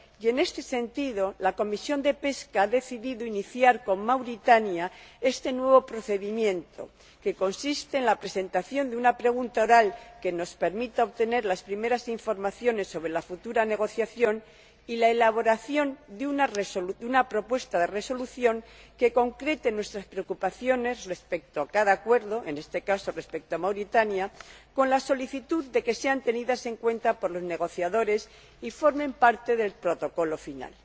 Y en este sentido, la Comisión de Pesca ha decidido iniciar con Mauritania este nuevo procedimiento, que consiste en la presentación de una pregunta oral que nos permita obtener las primeras informaciones sobre la futura negociación y la elaboración de una propuesta de resolución que concrete nuestras preocupaciones respecto a cada acuerdo —en este caso, respecto al de Mauritania—, con la solicitud de que sean tenidas en cuenta por los negociadores y formen parte del Protocolo final.